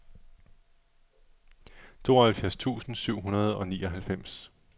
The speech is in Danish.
tooghalvfjerds tusind syv hundrede og nioghalvfems